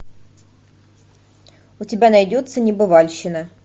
у тебя найдется небывальщина